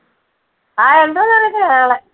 ആ ഉണ്ടോന്നറിയത്തില്ല നാളെ.